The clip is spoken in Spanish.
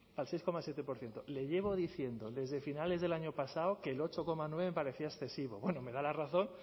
al seis coma siete por ciento le llevo diciendo desde finales del año pasado que el ocho coma nueve me parecía excesivo bueno me da la razón